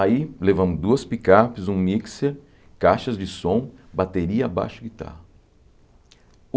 Aí levamos duas picapes, um mixer, caixas de som, bateria, baixo e guitarra.